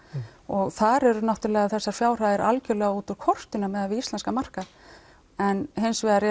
og þar eru þessar fjárhæðir algjörlega út úr kortinu miðað við íslenskan markað en hins vegar